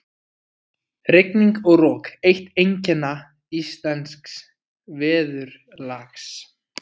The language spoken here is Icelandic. Rigning og rok- eitt einkenna íslensks veðurlags.